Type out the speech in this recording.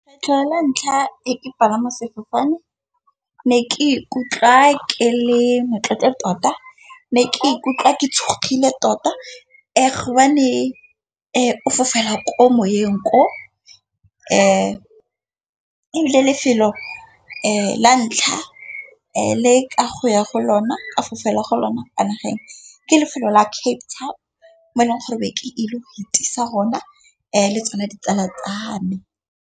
Kgetlho la ntlha e ke palama sefofane. Nne ke ikutlwa ke le motlotlo tota ne ke ikutlwa ke tshogile tota, gobane o fofela ko moyeng ko , ebile lefelo la ntlha le ka go ya go lona ka fofela go lona a nageng. Ke lefelo la Cape Town mo e leng gore beke ilo fetisa rona le tsone ditsala tsa me.